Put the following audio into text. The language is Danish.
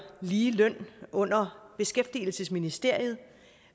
lige løn under beskæftigelsesministeriet